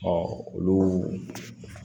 olu